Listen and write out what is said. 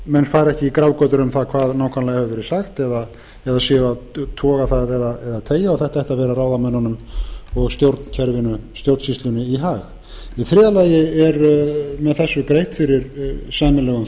menn fari ekki í grafgötur um það hvað nákvæmlega hefur verið sagt eða séu að toga það eða teygja og þetta ætti að vera ráðamönnunum og stjórnsýslunni í hag í þriðja lagi er með þessu greitt fyrir sæmilegum